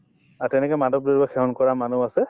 আৰু মাদক দ্ৰব্য সেৱন কৰা মানুহ আছে